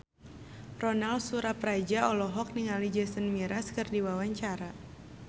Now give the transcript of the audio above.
Ronal Surapradja olohok ningali Jason Mraz keur diwawancara